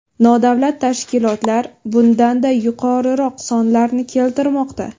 Nodavlat tashkilotlar bundan-da yuqoriroq sonlarni keltirmoqda.